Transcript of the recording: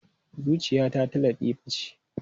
Zuciyata ta Latifa ce.